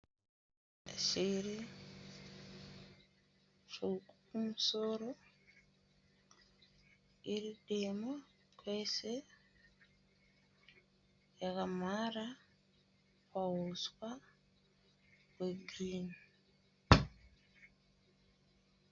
Shiri tsvuku kumusoro, iri dema kwese, yakamhara pauswa hwegirini.